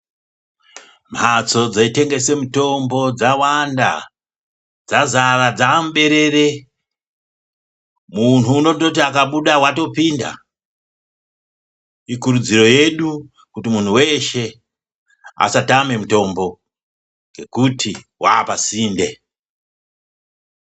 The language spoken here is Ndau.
Mhatso dzetengesa mutombo dzawanda dzazara dza muberere munhu unondoti akabuda watopinda ikurudziro yedu kutu muntu weshe asatama mutombo nekuti wapa sinde.